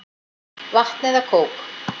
Vatn eða kók?